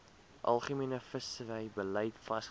algemene visserybeleid vasgestel